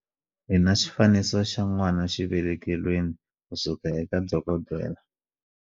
Hi na xifaniso xa n'wanaxivelekelweni kusuka eka dokodela